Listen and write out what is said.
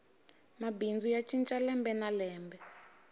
mabindzu ya cinca lembe na lembe